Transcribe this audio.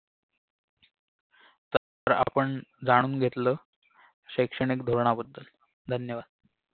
प्रा आपण जाणून घेतलं शैक्षणिक धोरणाबद्दल धन्यवाद